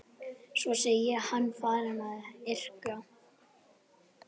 Svo sé hann farinn að yrkja.